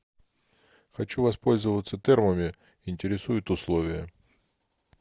хочу воспользоваться термами интересуют условия